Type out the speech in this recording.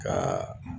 Ka